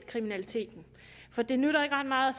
kriminaliteten for det nytter ikke ret meget